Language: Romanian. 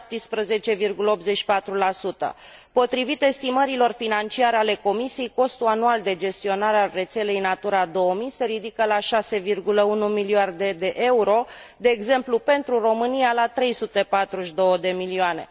17,84 Potrivit estimărilor financiare ale Comisiei, costul anual de gestionare a rețelei Natura 2000, se ridică la 6,1 miliarde de euro, de exemplu, pentru România la 342 de milioane.